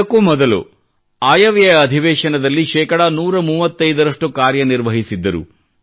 ಇದಕ್ಕೂ ಮೊದಲು ಆಯವ್ಯಯ ಅಧಿವೇಶನದಲ್ಲಿ ಶೇಕಡಾ 135 ರಷ್ಟು ಕಾರ್ಯನಿರ್ವಹಿಸಿದ್ದರು